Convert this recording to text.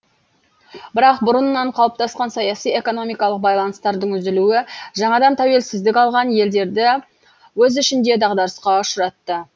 бірақ бұрыннан қалыптасқан саяси экономикалық байланыстардың үзілуі жаңадан тәуелсіздік алған елдерді өз ішінде дағдарысқа ұшыратты